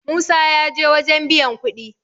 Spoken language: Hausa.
musa ya je wajen biyan kuɗi